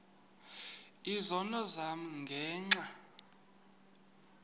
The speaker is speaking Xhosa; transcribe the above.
izono zam ngenxa